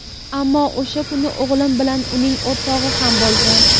Ammo o‘sha kuni o‘g‘lim bilan uning o‘rtog‘i ham bo‘lgan.